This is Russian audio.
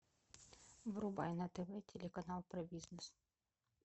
врубай на тв телеканал про бизнес